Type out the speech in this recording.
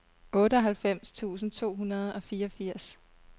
otteoghalvfems tusind to hundrede og fireogfirs